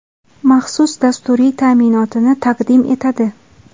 maxsus dasturiy ta’minotini taqdim etadi.